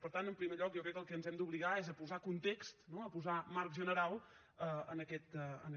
per tant en primer lloc jo crec que el que ens hem d’obligar és a posar context no a posar marc general en aquest tema